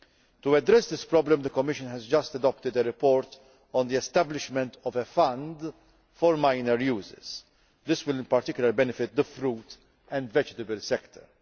To address this problem, the Commission has just adopted a report on the establishment of a fund for minor users, which will in particular benefit the fruit and vegetable sectors.